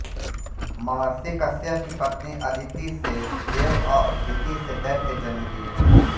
महर्षि कश्यप की पत्नी अदिति से देव और दिति से दैत्य जन्म लिये